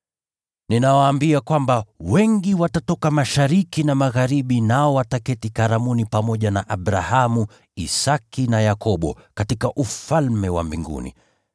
Ninawaambia kwamba wengi watatoka mashariki na magharibi, nao wataketi karamuni pamoja na Abrahamu, Isaki na Yakobo katika Ufalme wa Mbinguni.